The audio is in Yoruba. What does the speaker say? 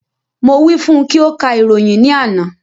Mo wí fún ùn kí o ka ìròyìn ní àná